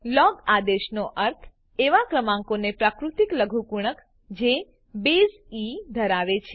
log આદેશનો અર્થ એવા ક્રમાંકનો પાકૃતિક લઘુગુણક જે બેઝ ઇ ધરાવે છે